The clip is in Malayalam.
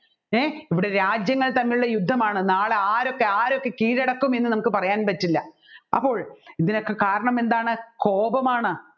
എ ഇവിടെ രാജ്യങ്ങൾ തമ്മിലുള്ള യുദ്ധമാണ് നാളെ ആരൊക്കെ ആരൊക്കെ കീഴടക്കും എന്ന് നമ്മുക്ക് പറയാൻ പറ്റില്ല അപ്പോൾ ഇതിനൊക്കെ കാരണം എന്താണ് കോപമാണ്